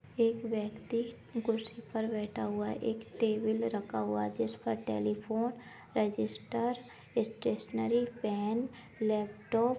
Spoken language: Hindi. एक व्यक्ति कुर्सी पर बैठा हुआ है एक टेबल रखा हुआ है जिस पर telephone register stationery pen laptop --